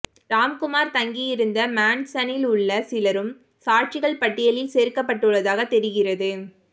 ராம்குமார் தங்கியிருந்த மேன்சனில் உள்ள சிலரும் சாட்சிகள் பட்டியலில் சேர்க்கப்பட்டுள்ளதாக தெரிகிறது